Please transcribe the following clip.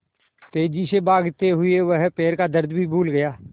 तेज़ी से भागते हुए वह पैर का दर्द भी भूल गया